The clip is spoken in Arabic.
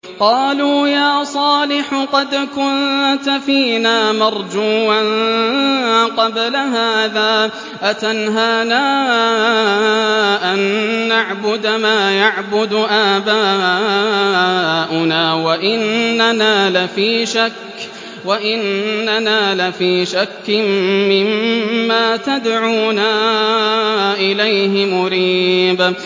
قَالُوا يَا صَالِحُ قَدْ كُنتَ فِينَا مَرْجُوًّا قَبْلَ هَٰذَا ۖ أَتَنْهَانَا أَن نَّعْبُدَ مَا يَعْبُدُ آبَاؤُنَا وَإِنَّنَا لَفِي شَكٍّ مِّمَّا تَدْعُونَا إِلَيْهِ مُرِيبٍ